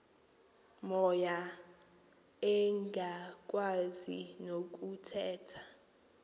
moya engakwazi nokuthetha